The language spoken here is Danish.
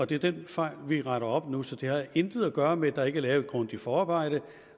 det er den fejl vi retter op på nu så det har intet at gøre med at der ikke er lavet et grundigt forarbejde